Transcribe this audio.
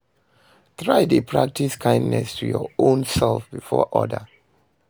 Try de practice kindness to your own self before other